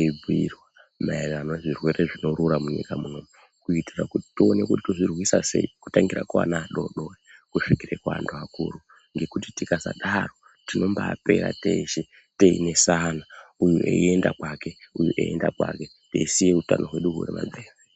eibhiirwa maererano nezvirwere zvinorura munyika muno kuitira kuti tione kuti tozvirwisa sei, kutangira kuana adodori kusvika kuantu akuru ngekuti tikasadaro tinombapera teshe teinesana uyu eienda kwake uyu einda kwake teisiya utano hwedu hwuripamberi.